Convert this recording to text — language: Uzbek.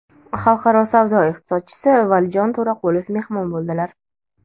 xalqaro savdo iqtisodchisi Valijon To‘raqulov mehmon bo‘ldilar.